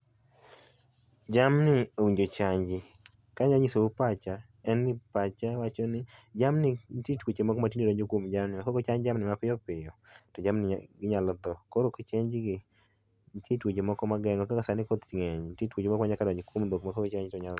Jamni owinjo ochanji kana nyisou pacha en ni pacha wacho ni jamni nitie twoche moko ma tinde donjo kwom jamni ma ka okochanjgi ma piyopiyo to jamni ginyalo tho koro kochenjgi nitiere twoche moko ma gengo koro kaka sani koth ng'eny ni nitiere twoche noko ma nyaka donj kwom dhok ma koko chanj gi to nyalo.